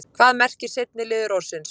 hvað merkir seinni liður orðsins